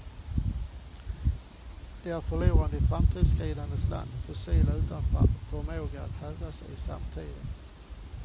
De är förlorarna i framåtskridandets land, fossil utan förmåga att hävda sig i samtiden.